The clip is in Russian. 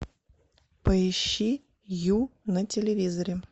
поищи ю на телевизоре